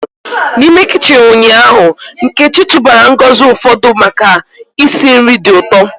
N'ime kichin ụnyaahụ, Nkechi tụbara ngozi ụfọdụ maka isi nri dị ụtọ.